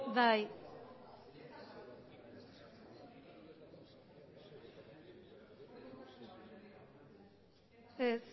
bai berbotsa ez